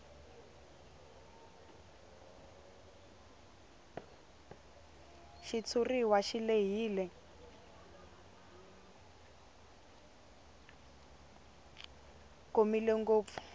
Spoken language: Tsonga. xitshuriwa xi lehile komile ngopfu